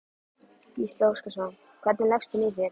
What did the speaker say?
Gísli Óskarsson: Hvernig leggst hún í þig?